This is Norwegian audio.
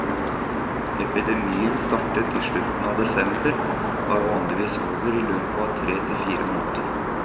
Epidemien startet i slutten av desember og er vanligvis over i løpet av tre til fire måneder.